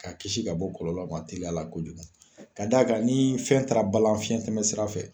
K'a kisi ka bɔ kɔlɔlɔ ma teliya la kojugu ka d'a kan ni fɛn taara balan fiyɛn tɛmɛ sira fɛ.